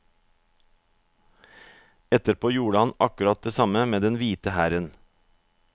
Etterpå gjorde han akkurat det samme med den hvite hæren.